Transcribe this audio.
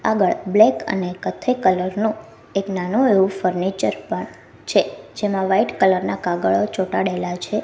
આગળ બ્લેક અને કથ્થઈ કલર નો એક નાનો એવો ફર્નિચર પણ છે જેમાં વાઈટ કલર ના કાગડો ચોટાડેલા છે.